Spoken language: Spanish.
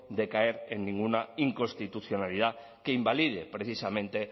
de caer en ninguna inconstitucionalidad que invalide precisamente